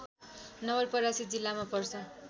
नवलपरासी जिल्लामा पर्छ